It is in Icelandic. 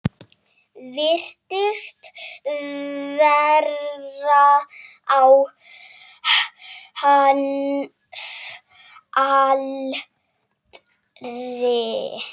Virtist vera á hans aldri.